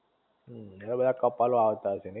એ બધા કપલો આવતા હશે.